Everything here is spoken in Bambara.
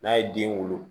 N'a ye den wolo